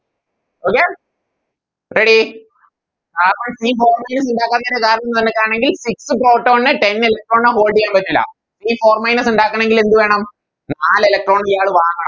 Okay ready ആ ഇണ്ടാക്കാൻ കാരണം കണ്ടെത്താണെങ്കിൽ Six proton നെ Ten electron ന് Hold ചെയ്യാൻ പറ്റൂല ഈ Four minus ഇണ്ടാക്കണെങ്കിൽ എന്ത് വേണം നാല് Electron ഇയാള് വാങ്ങണം